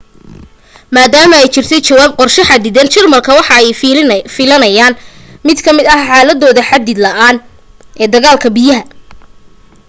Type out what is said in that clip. maadama ay jirtay jawaab qorsho xadidan jarmalka waxa ay filaayen mid lamida xaaladooda xadid la'aan ee dagaalka biyaha